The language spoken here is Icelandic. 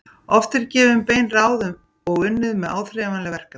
Oft eru gefin bein ráð og unnið með áþreifanleg verkefni.